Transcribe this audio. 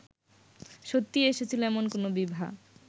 সত্যিই এসেছিল এমন কোনো বিভা